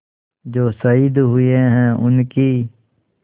जो शहीद हुए हैं उनकी